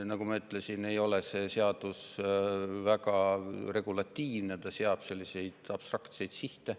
Nagu ma ütlesin, ei ole see seadus väga regulatiivne, ta seab selliseid abstraktseid sihte.